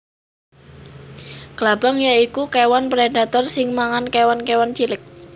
Klabang ya iku kéwan predator sing mangan kéwan kéwan cilik